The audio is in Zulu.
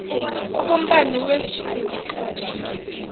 okombani wezulu ehlobo